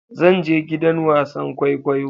Zan je gidan wasan kwaikwayo.